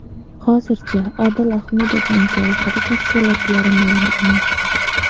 Hozircha Odil Ahmedovning jarohati tafsilotlari ma’lum emas.